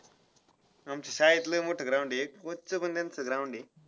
आमच्या शाळेत लय मोठं ground आहे. coach चं पण त्यांचं ground आहे.